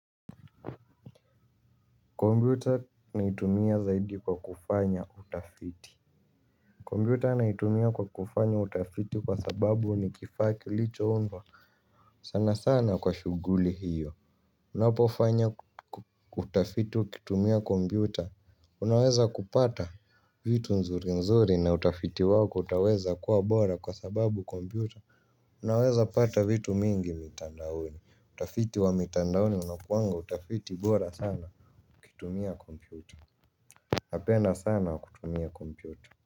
Kopyuta naitumia zaidi kwa kufanya utafiti kopyuta naitumia kwa kufaya utafiti kwa sababu ni kifaa kilichoundwa sana sana kwa shughuli hiyo. Unapofanya kutafiti ukitumia kompyuter unaweza kupata vitu nzuri nzuri na utafiti wako utaweza kuwa bora kwa sababu kompyuter. Unaweza pata vitu mingi mitandaoni. Utafiti wa mitandaoni unakuanga utafiti bora sana ukitumia kompyuter napenda sana kutumia kompyuta.